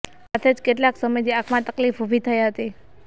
સાથે જ કેટલાક સમયથી આંખમાં તકલીફ ઊભી થઇ હતી